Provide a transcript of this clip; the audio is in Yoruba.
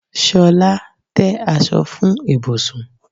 Ṣolá, tẹ́ aṣọ fún ibùsùn!